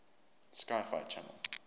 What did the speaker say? sci fi channel